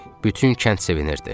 Bütün kənd sevinirdi.